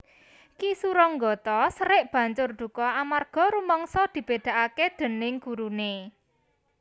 Ki Suronggotho serik banjur duka amarga rumangsa dibèdakaké déning guruné